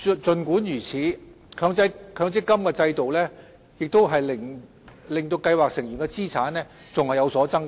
儘管如此，強積金制度仍令計劃成員的資產有所增加。